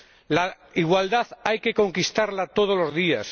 La igualdad hay que conquistarla todos los días.